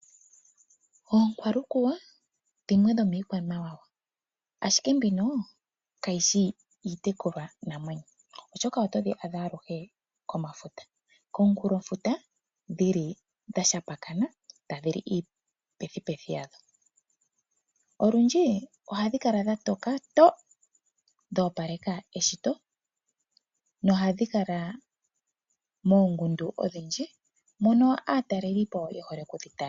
Oonkwalukuwa dhimwe dhomiikwamawawa, ashike ndhino kadhi shi iitekulwanamwenyo, oshoka otodhi adha aluhe komunkulofuta dha shambakana tadhi li iipethipethi yadho. Olundji ohadhi kala dha toka to, dho opaleka eshito nohadhi kala moongundu odhindji mono aatalelipo ye hole okudhi tala.